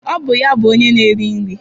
Ọ bụ ya bụ onye na-ere nri?